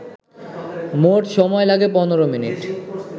মোট সময় লাগে ১৫মিনিট